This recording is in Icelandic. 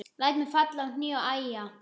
Læt mig falla á hnéð og æja.